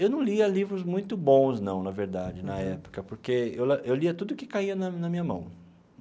Eu não lia livros muito bons não, na verdade, na época, porque eu lia tudo que caía na na minha mão.